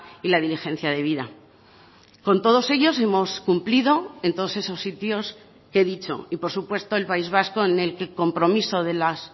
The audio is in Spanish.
y la diligencia debida con todos ellos hemos cumplido en todos esos sitios que he dicho y por supuesto el país vasco en el que el compromiso de las